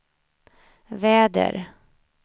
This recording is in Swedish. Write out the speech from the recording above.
väder